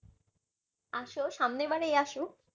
আসো সামনের বারেই আসো